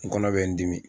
N kɔnɔ bɛ n dimi